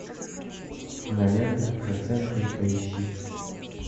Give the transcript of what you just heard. кинолента проценты поищи